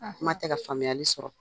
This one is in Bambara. Kuma tɛ ka faamuyali sɔrɔ.